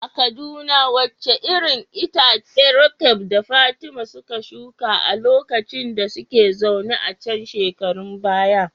A Kaduna wace irin itace Roqeeb da Fatima suka shuka a lokacin da suka zauna a can shekarun baya?